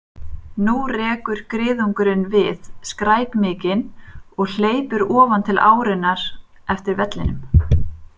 Nú rekur griðungurinn við skræk mikinn og hleypur ofan til árinnar eftir vellinum.